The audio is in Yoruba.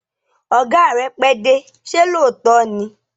Ọ̀gá rẹ pẹ́dé, ṣé lóòótọ́ ni?